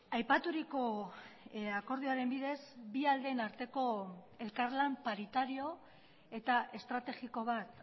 aipaturiko akordioaren bidez bi aldeen arteko elkarlan paritario eta estrategiko bat